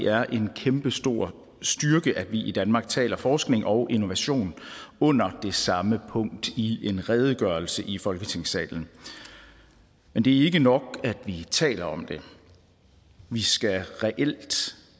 er en kæmpestor styrke at vi i danmark taler om forskning og innovation under det samme punkt i en redegørelse i folketingssalen men det er ikke nok at vi taler om det vi skal reelt